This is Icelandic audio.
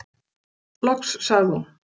Loks sagði hún: